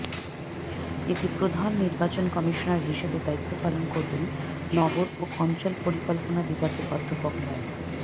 এতে প্রধান নির্বাচন কমিশনার হিসেবে দায়িত্ব পালন করবেন নগর ও অঞ্চল পরিকল্পনা বিভাগের অধ্যাপক মো